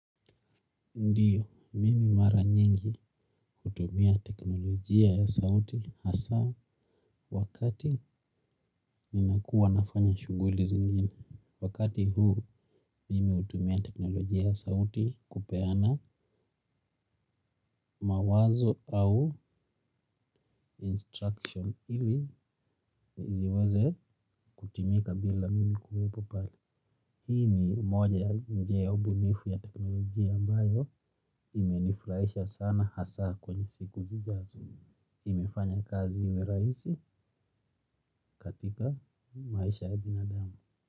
Ndiyo, mimi mara nyingi hutumia teknolojia ya sauti hasa wakati nina kuwa nafanya shughuli zingine. Wakati huu mimi hutumia teknolojia ya sauti kupeana mawazo au instructions ili ziweze kutumika bila mimi kuwepo pale. Hii ni moja ya njia ya ubunifu ya teknolojia ambayo imenifurahisha sana hasa kwenye siku ziijazo. Imefanya kazi iwe rahisi katika maisha ya binadamu.